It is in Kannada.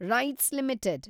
rights limited